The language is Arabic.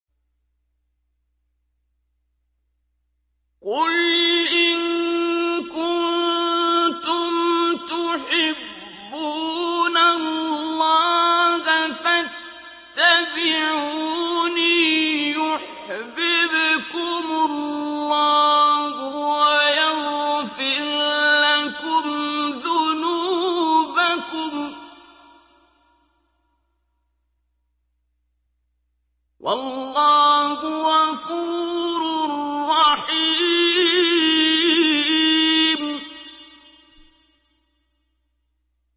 قُلْ إِن كُنتُمْ تُحِبُّونَ اللَّهَ فَاتَّبِعُونِي يُحْبِبْكُمُ اللَّهُ وَيَغْفِرْ لَكُمْ ذُنُوبَكُمْ ۗ وَاللَّهُ غَفُورٌ رَّحِيمٌ